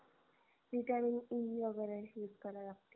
vitamin e वगेरे use करा लागतील